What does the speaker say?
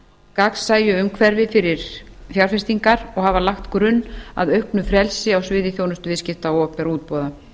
gagnsæju umhverfi fyrir fjárfestingar og hafa lagt grunn að auknu frelsi á sviði þjónustuviðskipta og opinberra útboða